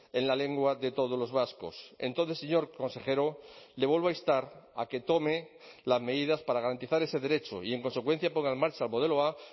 en la lengua de todos los vascos entonces señor consejero le vuelvo a instar a que tome las medidas para garantizar ese derecho y en consecuencia ponga en marcha el modelo a